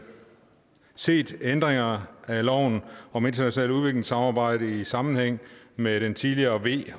set ændringerne af loven om internationalt udviklingssamarbejde i sammenhæng med den tidligere v